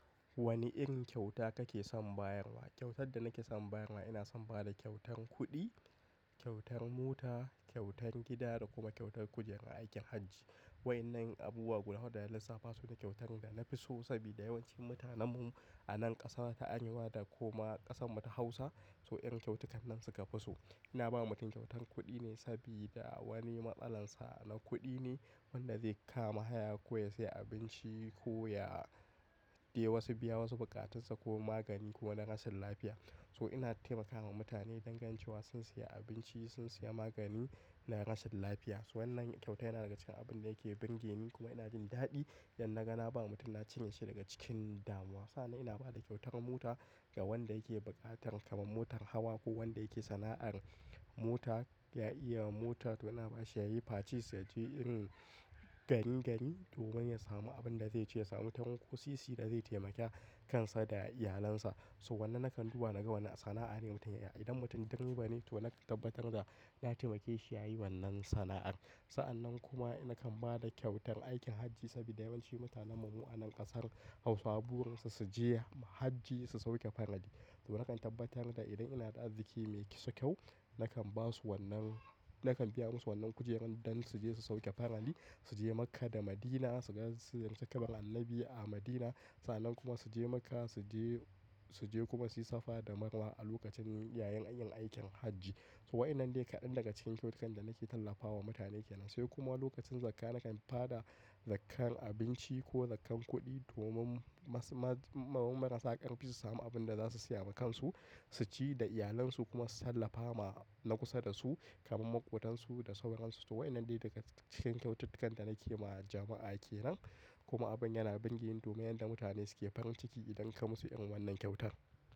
Wane irin kyauta kake son bayarwa? Kyautar da nake son bayarwa ina son bada kyautan kuɗi, kyautan mota, kyautan gida da kuma kyautan kujerar aikin Hajji. Waɗannan abubuwa guda hudu da lasafa su ne kyautan da na fi so saboda yawancin mutanenmu a nan ƙasa ta Arewa da kuma ƙasan mu ta Hausa, so irin kyautukan nan suka fi so. Ina ba mutum kyautan kuɗi ne saboda wani matsalar sa na kuɗi ne wanda zai kama haya ko ya sayi abinci ko ya de wasu, biya wasu buƙatun sa ko magani ko na rashin lafiya. So ina taimakawa mutane dangantcewa sun siya abinci, sun siya magani na rashin lafiya. Wannan kyauta yana daga cikin abin da yake bingeni kuma ina jin daɗi idan na gani ba mutum na cinye shi daga cikin damuwa. Sannan ina bada kyautan mota ga wanda yake buƙatar kamar motar hawa ko wanda yake sana'ar mota ya iya mota. To ina bashi ya yi facis ya je irin garingari domin ya samu abin da zai ciyasa. Mutumin ko sisi da zai taimaka kansa da iyalinsa. So wannan nakan duba na ga wane sana'a ne mutum yake. Idan mutum direba ne to nakan tabbatar da ya taimake shi ya yi wannan sana'ar. Sa'annan kuma nakan bada kyautan aikin Hajji saboda yawancin mutanenmu a nan ƙasar Hausa, burin su su je Hajji su sauke faradi. To nakan tabbatar da idan ina da arziki mai kiso kyau, nakan basu wannan, nakan biya musu wannan kujerun don su je su sauke faradi, su je Makka da Madina, su ga, su ziyarci kabarin Annabi a Madina. Sannan kuma su je Makka su je, su je kuma su yi safa da marwa a lokacin, yayin yin aikin Hajji. So waɗannan ne kaɗan daga cikin kyautukan da nake tallafawa mutane ke nan. Sai kuma lokacin zakka nakan faɗa zakkan abinci ko zakkan kuɗi domin masu, maman marasa ƙarfi su samu abin da za su siya wa kansu, su ci da iyalansu kuma su tallafa ma na kusa da su kamar maƙotansu da saurayansu. So waɗannan ne daga cikin kyaututtukan da nake ma jama'a ke nan. Kuma abin yana burge ni domin yanda mutane suke farin ciki idan ka musu irin wannan kyautan.